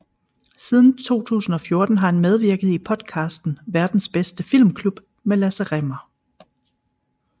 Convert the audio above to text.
Siden 2014 har han medvirket i podcasten Verdens Bedste Filmklub med Lasse Rimmer